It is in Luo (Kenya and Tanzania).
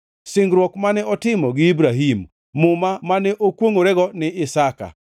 Singruok mane otimo gi Ibrahim, muma mane okwongʼorego ni Isaka.